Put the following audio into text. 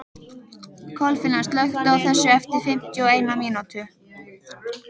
Kolfinna, slökktu á þessu eftir fimmtíu og eina mínútur.